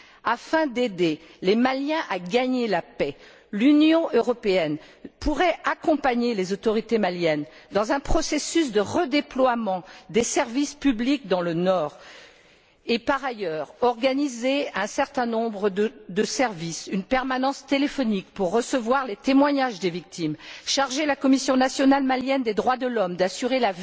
Afin d'aider les Maliens à gagner la paix, l'Union européenne pourrait accompagner les autorités maliennes dans un processus de redéploiement des services publics dans le nord et, par ailleurs, organiser un certain nombre de services, comme une permanence téléphonique pour recevoir les témoignages des victimes, charger la Commission nationale malienne des droits de l'homme de surveiller